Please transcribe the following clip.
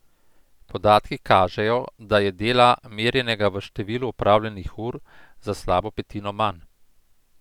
Podatki kažejo, da je dela, merjenega v številu opravljenih ur, za slabo petino manj.